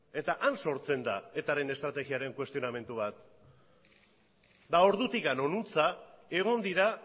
eta han sortzen da etaren estrategiaren kuestionamendu bat eta ordutik honuntza egon dira